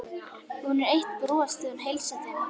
Hún er eitt bros þegar hún heilsar þeim.